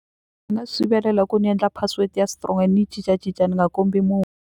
Nga swi sivelela hi ku ni endla password ya strong ni yi cincacinca ni nga kombi munhu.